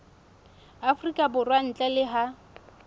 afrika borwa ntle le ha